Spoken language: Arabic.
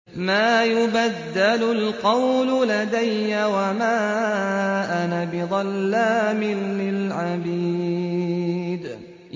مَا يُبَدَّلُ الْقَوْلُ لَدَيَّ وَمَا أَنَا بِظَلَّامٍ لِّلْعَبِيدِ